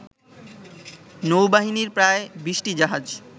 নৌবাহিনীর প্রায় ২০টি জাহাজ